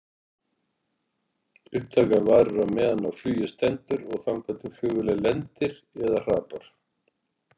Upptakan varir á meðan á flugi stendur og þangað til flugvélin lendir eða hrapar.